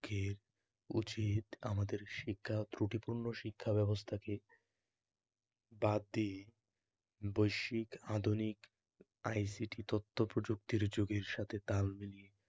ঠিক, উচিত আমাদের শিক্ষা ত্রুটিপূর্ণ শিক্ষাব্যবস্থাকে বাদ দিয়ে বৈশ্বিক, আধুনিক, আইসিটি তথ্যপ্রযুক্তির যুগের সাথে তাল মিলিয়ে